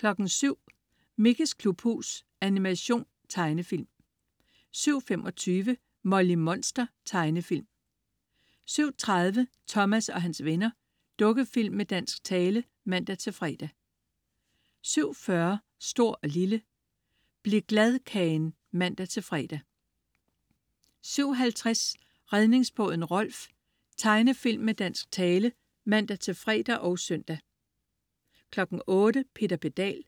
07.00 Mickeys klubhus. Animation/Tegnefilm 07.25 Molly Monster. Tegnefilm 07.30 Thomas og hans venner. Dukkefilm med dansk tale (man-fre) 07.40 Stor & Lille. Bliv-Glad-Kagen (man-fre) 07.50 Redningsbåden Rolf. Tegnefilm med dansk tale (man-fre og søn) 08.00 Peter Pedal.